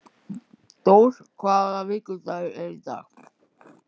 Dór, hvaða vikudagur er í dag?